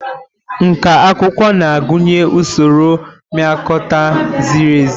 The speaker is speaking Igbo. Nkà akwụkwọ na-agụnye usoro mpịakota ziri ezi.